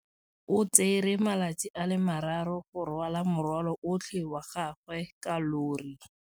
O tsere malatsi a le marraro go rwala morwalo otlhe wa gagwe ka llori.